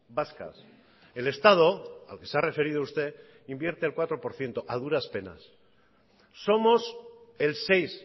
vascas el estado al que se ha referido usted invierte el cuatro por ciento a duras penas somos el seis